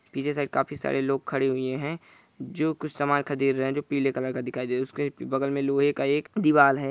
पीछे साइड काफी सारे लोग खड़े हुए है जो कुछ सामान खदिर रहे है जो पीले कलर का दिखाई दे रहे है उसके बगल मे लोहे का एक दीवाल है ।